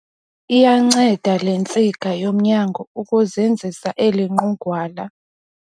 Iyanceda le ntsika yomnyango ukuzinzisa eli nqugwala.